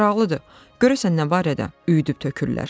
Maraqlıdır, görəsən nə barədə üyüdüb tökürlər?